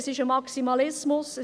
Es ist ein Maximalismus.